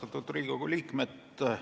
Austatud Riigikogu liikmed!